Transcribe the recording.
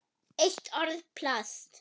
Eitt orð: Plast